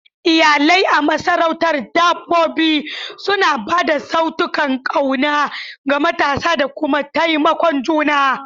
Iyalai a masarautar dabbobi suna ba da saitunan ƙauna ga matasa da kuma taimakon juna.